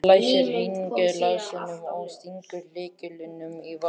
Hann læsir hengilásnum og stingur lyklinum í vasann.